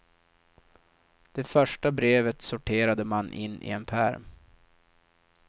Det första brevet sorterade man in i en pärm.